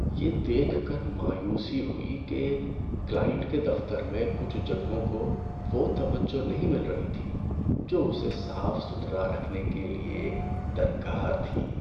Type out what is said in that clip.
‏یہ دیکھ کر مایوسی ہوئی کہ کلائنٹ کے دفتر میں کچھ جگہوں کو وہ توجہ نہیں مل رہی تھی جو اسے صاف ستھرا رکھنے کے لیے درکار تھی۔